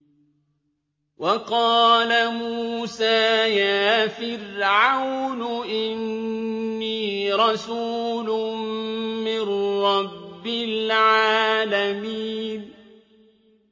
وَقَالَ مُوسَىٰ يَا فِرْعَوْنُ إِنِّي رَسُولٌ مِّن رَّبِّ الْعَالَمِينَ